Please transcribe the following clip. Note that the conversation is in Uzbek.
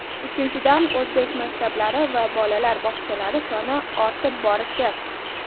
Uchinchidan, o‘zbek maktablari va bolalar bog‘chalari soni ortib borishi.